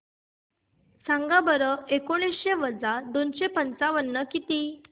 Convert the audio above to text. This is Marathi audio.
सांगा बरं एकोणीसशे वजा दोनशे पंचावन्न किती